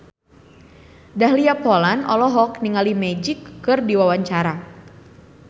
Dahlia Poland olohok ningali Magic keur diwawancara